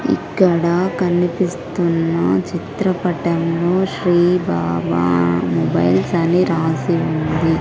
ఇక్కడ కనిపిస్తున్న చిత్రపటంలో శ్రీ బాబా మొబైల్స్ అని రాసి ఉంది.